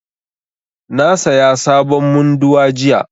Na saya sabon munduwa jiya